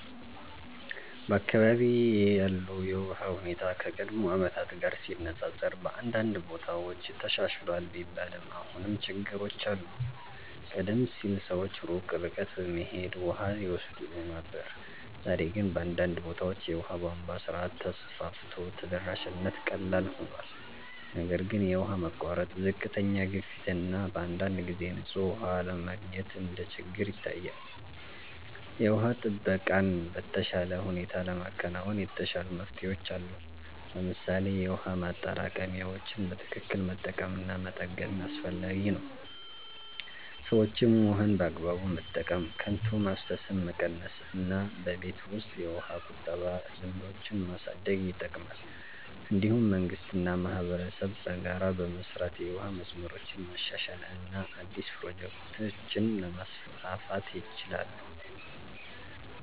በአካባቢዬ ያለው የውሃ ሁኔታ ከቀድሞ ዓመታት ጋር ሲነፃፀር በአንዳንድ ቦታዎች ተሻሽሏል ቢባልም አሁንም ችግሮች አሉ። ቀደም ሲል ሰዎች ሩቅ ርቀት በመሄድ ውሃ ይወስዱ ነበር፣ ዛሬ ግን በአንዳንድ ቦታዎች የውሃ ቧንቧ ስርዓት ተስፋፍቶ ተደራሽነት ቀላል ሆኗል። ነገር ግን የውሃ መቋረጥ፣ ዝቅተኛ ግፊት እና በአንዳንድ ጊዜ ንጹህ ውሃ አለመገኘት እንደ ችግር ይታያል። የውሃ ጥበቃን በተሻለ ሁኔታ ለማከናወን የተሻሉ መፍትሄዎች አሉ። ለምሳሌ የውሃ ማጠራቀሚያዎችን በትክክል መጠቀም እና መጠገን አስፈላጊ ነው። ሰዎችም ውሃን በአግባቡ መጠቀም፣ ከንቱ ማፍሰስን መቀነስ እና በቤት ውስጥ የውሃ ቁጠባ ልምዶችን ማሳደግ ይጠቅማል። እንዲሁም መንግስት እና ማህበረሰብ በጋራ በመስራት የውሃ መስመሮችን ማሻሻል እና አዲስ ፕሮጀክቶችን ማስፋፋት ይችላሉ።